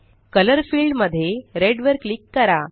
colour field मध्ये red वर click करा